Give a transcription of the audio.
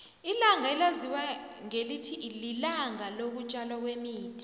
ilanga elaziwa ngelithi lilanga loku tjalwa kwemithi